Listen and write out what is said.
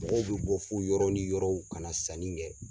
Mɔgɔw bɛ bɔ fo yɔrɔ ni yɔrɔw ka na sanni kɛ.